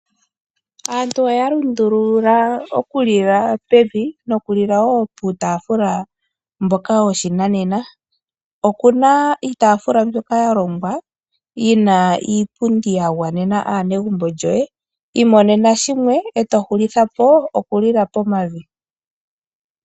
Aantu oya lundulula okulila pevi nokulila wo puutaafula mboka woshinanena. Oku na iitaafula mbyoka ya longwa yi na iipundi ya gwanena aanegumbo lyoye. Imonene shimwe e to hulitha po okulila pomavi.